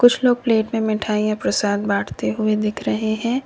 कुछ लोग प्लेट में मिठाइयां प्रसाद बांटते हुए दिख रहे हैं।